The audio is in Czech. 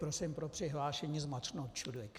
Prosím pro přihlášení zmáčknout čudlík.